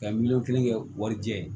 Ka miliyɔn kelen kɛ wari jɛ ye